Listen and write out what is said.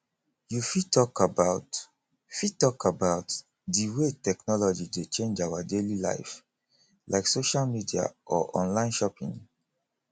you fit talk about fit talk about di way technology dey change our daily life like social media or online shopping